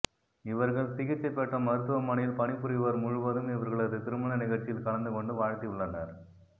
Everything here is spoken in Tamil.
இவர்கள் சிகிச்சை பெற்ற மருத்துவமனையில் பணிபுரிவோர் முழுவதும் இவர்களது திருமண நிகழ்ச்சியில் கலந்துகொண்டு வாழ்த்தியுள்ளனர்